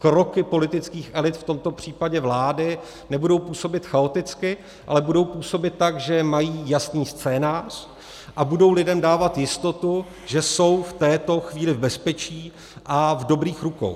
Kroky politických elit, v tomto případě vlády, nebudou působit chaoticky, ale budou působit tak, že mají jasný scénář, a budou lidem dávat jistotu, že jsou v této chvíli v bezpečí a v dobrých rukou.